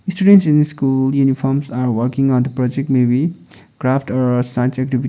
the students in the school uniforms are working on the project maybe craft or science activi --